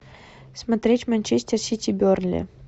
смотреть манчестер сити бернли